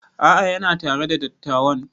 A'a yana tare da dattawan